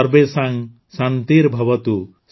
ସର୍ବେଷାଂ ଶାନ୍ତିର୍ଭବତୁ